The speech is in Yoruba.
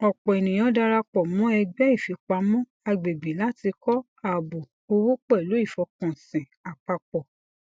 ọpọ ènìyàn darapọ mọ ẹgbẹ ìfipamọ agbègbè láti kọ ààbò owó pẹlú ìfọkànsìn àpapọ